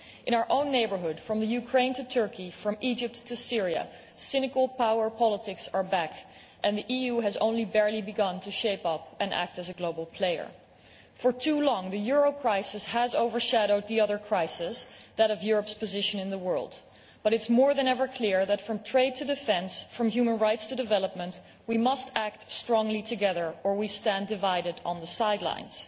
In our own neighbourhood from Ukraine to Turkey, from Egypt to Syria cynical power politics are back and the EU has barely begun to shape up and act as a global player. For too long the euro crisis has overshadowed the other crisis that of Europe's position in the world but it is, more than ever, clear that from trade to defence, from human rights to development, we must act strongly together or we stand divided on the sidelines.